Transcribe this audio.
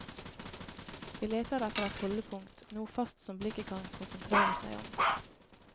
Vi leter etter et holdepunkt, noe fast som blikket kan konsentrere seg om.